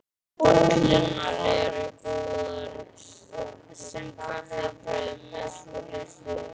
Bollurnar eru góðar sem kaffibrauð með svolitlu viðbiti.